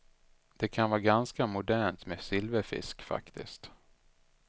Det kan vara ganska mondänt med silverfisk faktiskt.